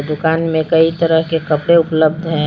दुकान में कई तरह के कपड़े उपलब्ध हैं।